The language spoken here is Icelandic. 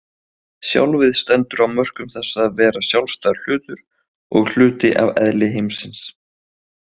Sjálfið stendur á mörkum þess að vera sjálfstæður hlutur og hluti af eðli heimsins.